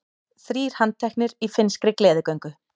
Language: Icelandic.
Þrír handteknir í finnskri gleðigöngu